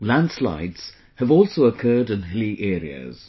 Landslides have also occurred in hilly areas